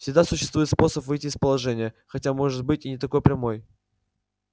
всегда существует способ выйти из положения хотя может быть и не такой прямой